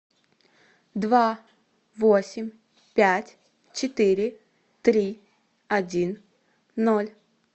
два восемь пять четыре три один ноль